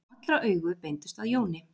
Allra augu beindust að Jóni.